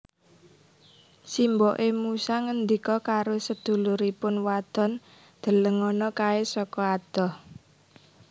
Simboké musa ngendika karo seduluripun wadon Delengono kaé saka adoh